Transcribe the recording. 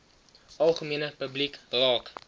algemene publiek raak